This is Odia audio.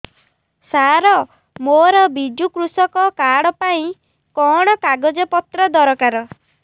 ସାର ମୋର ବିଜୁ କୃଷକ କାର୍ଡ ପାଇଁ କଣ କାଗଜ ପତ୍ର ଦରକାର